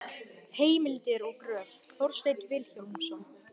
Heimildir og gröf: Þorsteinn Vilhjálmsson.